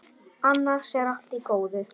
Annars er allt í góðu.